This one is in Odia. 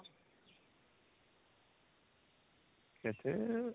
କେତେ